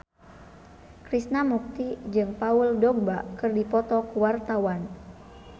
Krishna Mukti jeung Paul Dogba keur dipoto ku wartawan